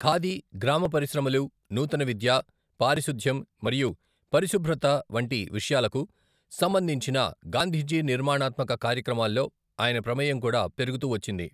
ఖాదీ, గ్రామ పరిశ్రమలు, నూతన విద్య, పారిశుద్ధ్యం మరియు పరిశుభ్రతకు వంటి విషయాలకు సంబంధించిన గాంధీజీ నిర్మాణాత్మక కార్యక్రమాల్లో ఆయన ప్రమేయం కూడా పెరుగుతూ వచ్చింది.